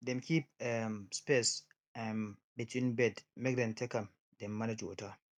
dem keep um space um between bed make dem take am dem manage um water